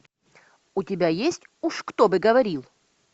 у тебя есть уж кто бы говорил